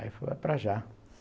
Aí eu falei é para já.